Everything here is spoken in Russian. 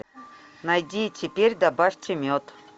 найди теперь добавьте мед